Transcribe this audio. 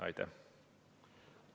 Aitäh!